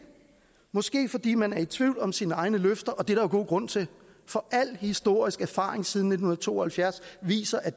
måske fordi man er i tvivl om sine egne løfter og det er der jo god grund til for al historisk erfaring siden nitten to og halvfjerds viser at